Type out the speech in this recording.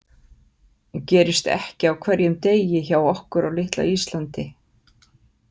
Gerist ekki á hverjum degi hjá okkur á litla Íslandi.